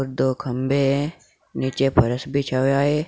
दो खंबे हैं नीचे फर्श बिछा हुआ है।